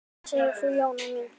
Hvað segir þú, Jóna mín?